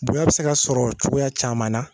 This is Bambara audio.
Bonya be se ka sɔrɔ cogoya caman na